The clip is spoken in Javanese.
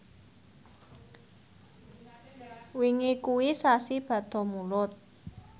wingi kuwi sasi Bada Mulud